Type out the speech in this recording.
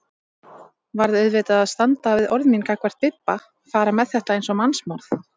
Varð auðvitað að standa við orð mín gagnvart Bibba, fara með þetta eins og mannsmorð.